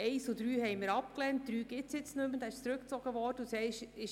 Die Punkte 1 und 3 lehnten wir ab, wobei Punkt 3 inzwischen zurückgezogen worden ist.